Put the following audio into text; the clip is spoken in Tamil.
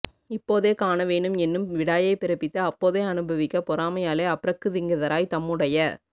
இப்போதே காண வேணும் என்னும் விடாயைப் பிறப்பித்து அப்போதே அனுபவிக்கப் பெறாமையாலே அப்ரக்ருதிங்கதராய் தம்முடைய